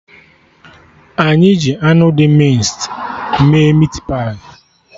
Anyị ji anụ dị mịnced mee meatpie